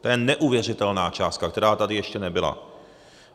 To je neuvěřitelná částka, která tady ještě nebyla.